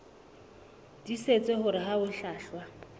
tiisitse hore ha ho hlwahlwa